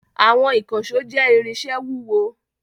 Àwọn ìkànṣó jẹ́ irinṣẹ́ wúwo.